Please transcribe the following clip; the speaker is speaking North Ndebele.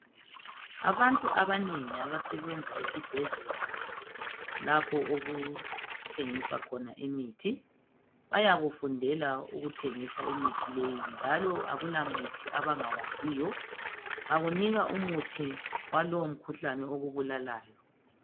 Abantu abanengi abasebenza esibhedlela lapho okuthengiswa khona imithi bayakufundela ukuthengisa imithi leyi njalo akula muthi abangawaziyo. Bakunika umuthi walowo mkhuhlane okubulalayo.